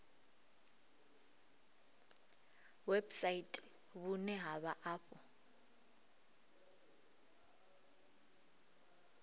website vhune ha vha afho